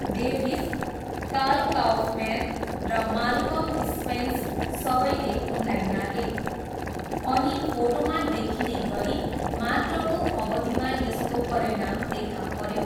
Davis, Carl Kaufman र Malcolm Spence सबैले उनलाई नाघे अनि फोटोमा देखिने गरी मात्रको अवधिमा यसको परिणाम देखा पऱ्यो।